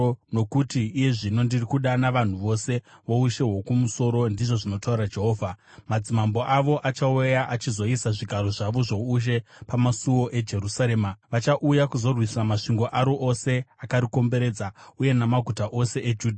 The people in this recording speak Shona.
Nokuti iye zvino ndiri kudana vanhu vose voushe hwokumusoro,” ndizvo zvinotaura Jehovha. “Madzimambo avo achauya achizoisa zvigaro zvavo zvoushe pamasuo eJerusarema; vachauya kuzorwisa masvingo aro ose akarikomberedza uye namaguta ose eJudha.